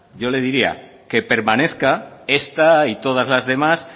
yo le diría que permanezca esta y todas las demás